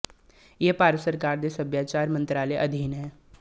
ਇਹ ਭਾਰਤ ਸਰਕਾਰ ਦੇ ਸੱਭਿਆਚਾਰ ਮੰਤਰਾਲੇ ਅਧੀਨ ਹੈ